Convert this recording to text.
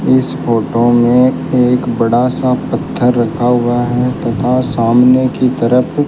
इस फोटो में एक बड़ा सा पत्थर रखा हुआ है तथा सामने की तरफ --